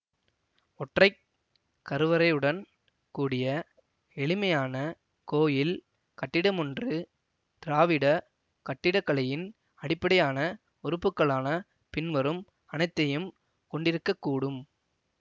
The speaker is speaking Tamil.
ஒற்றை கருவறையுடன் கூடிய எளிமையான கோயில் கட்டிடமொன்று திராவிடக் கட்டிடக்கலையின் அடிப்படையான உறுப்புக்களான பின்வரும் அனைத்தையும் கொண்டிருக்க கூடும்